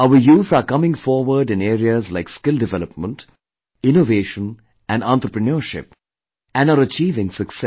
Our youth are coming forward in areas like skill development, innovation and entrepreneurship and are achieving success